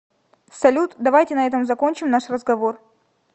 салют давайте на этом закончим наш разговор